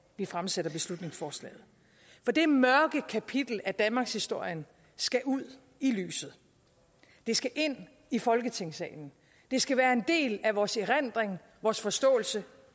vi fremsætter beslutningsforslaget for det mørke kapitel af danmarkshistorien skal ud i lyset det skal ind i folketingssalen det skal være en del af vores erindring vores forståelse